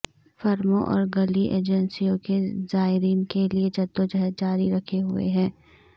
فرموں اور گلی ایجنسیوں کے زائرین کے لئے جدوجہد جاری رکھے ہوئے ہیں